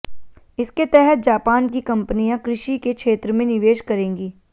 इसके तहत जापान की कंपनियां कृषि के क्षेत्र में निवेश करेंगी